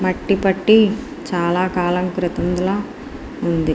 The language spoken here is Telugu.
మట్టి పట్టి చాల కాలం క్రితంలా వుంది.